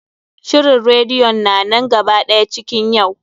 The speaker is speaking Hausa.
Shirin radeyon na nan gaba ɗaya cikin yau.